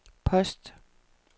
post